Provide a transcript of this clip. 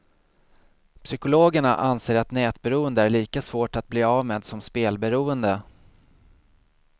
Psykologerna anser att nätberoende är lika svårt att bli av med som spelberoende.